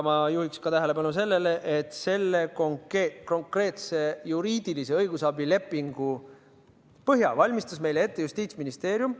Ma juhiksin tähelepanu ka sellele, et selle konkreetse juriidilise õigusabi lepingu põhja valmistas ette Justiitsministeerium.